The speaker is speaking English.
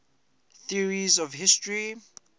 theories of history